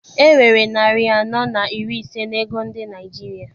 E nwere narị anọ na iri ise n'ego ndị Naịjirịa.